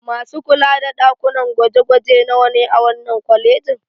Masu kula da ɗakunan gwaje-gwaje nawa ne a wannan kwalejin?